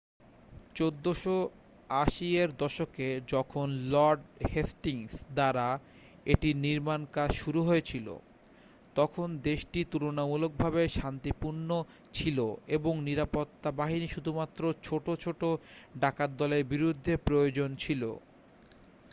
1480 এর দশকে যখন লর্ড হেস্টিংস দ্বারা এটির নির্মাণকাজ শুরু হয়েছিল তখন দেশটি তুলনামূলকভাবে শান্তিপূর্ণ ছিল এবং নিরাপত্তা বাহিনী শুধুমাত্র ছোট ছোট ডাকাতদলের বিরুদ্ধে প্রয়োজন ছিল